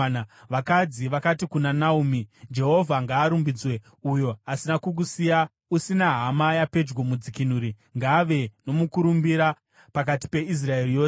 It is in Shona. Vakadzi vakati kuna Naomi, “Jehovha ngaarumbidzwe, uyo asina kukusiya usina hama yapedyo, mudzikinuri. Ngaave nomukurumbira pakati peIsraeri yose!